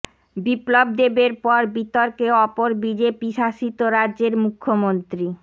বিপ্লব দেবের পর বিতর্কে অপর বিজেপি শাসিত রাজ্যের মুখ্যমন্ত্রী